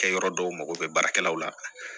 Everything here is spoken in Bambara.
Kɛ yɔrɔ dɔw mago bɛ baarakɛlaw la